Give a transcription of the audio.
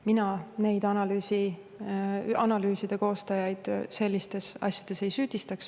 Mina neid analüüside koostajaid sellistes asjades ei süüdista.